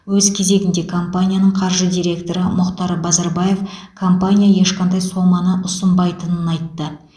өз кезегінде компанияның қаржы директоры мұхтар базарбаев компания ешқандай соманы ұсынбайтынын айтты